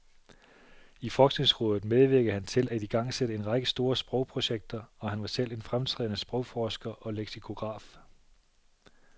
I forskningsrådet medvirkede han til at igangsætte en række store sprogprojekter, og han var selv en fremtrædende sprogforsker og leksikograf.